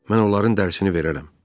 Mən onların dərisini verərəm.